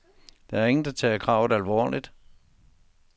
Der er ingen, der tager kravet alvorligt.